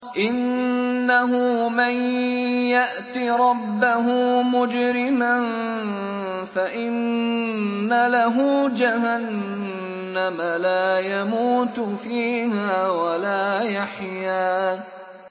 إِنَّهُ مَن يَأْتِ رَبَّهُ مُجْرِمًا فَإِنَّ لَهُ جَهَنَّمَ لَا يَمُوتُ فِيهَا وَلَا يَحْيَىٰ